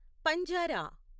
పంజారా